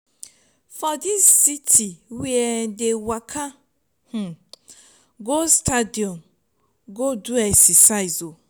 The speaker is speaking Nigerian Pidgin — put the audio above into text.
for dis city we um dey waka um go stadium go do exercise o.